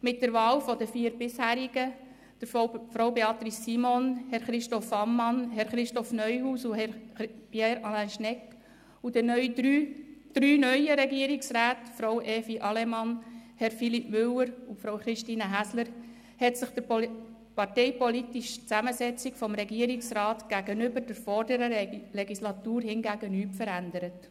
Mit der Wahl der vier Bisherigen, Frau Beatrice Simon, Herr Christoph Ammann, Herr Christoph Neuhaus und Herr Pierre Alain Schnegg, und der drei neuen Regierungsräten, Frau Evi Allemann, Herr Philippe Müller und Frau Christine Häsler, hat sich die parteipolitische Zusammensetzung des Regierungsrats gegenüber der vorherigen Legislatur hingegen nicht verändert.